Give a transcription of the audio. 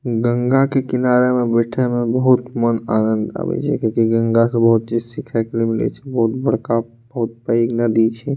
गंगा के किनारे में बैठे में बहुत मन आनंद आबे छै किया की गंगा से बहुत कुछ सीखे के लिए मिले छै बहुत बड़का बहुत पेएग नदी छै।